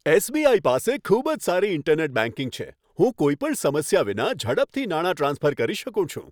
SBI. પાસે ખૂબ જ સારી ઇન્ટરનેટ બેંકિંગ છે. હું કોઈ પણ સમસ્યા વિના, ઝડપથી નાણાં ટ્રાન્સફર કરી શકું છું.